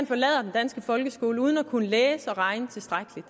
forlader den danske folkeskole uden at kunne læse og regne tilstrækkeligt